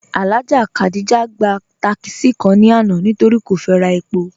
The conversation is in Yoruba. Alhaja Khadijat gba tákísí kàn ni àná nítorí́ kò fẹ́ rà èpò.